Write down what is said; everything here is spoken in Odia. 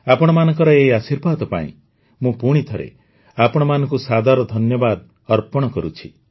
ଆପଣମାନଙ୍କର ଏହି ଆଶୀର୍ବାଦ ପାଇଁ ମୁଁ ପୁଣିଥରେ ଆପଣମାନଙ୍କୁ ସାଦର ଧନ୍ୟବାଦ ଅର୍ପଣ କରୁଛି